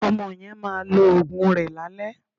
Ọmọ yẹn máa lo òògùn rẹ̀ lálẹ́